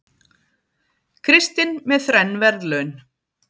Kristinn með þrenn verðlaun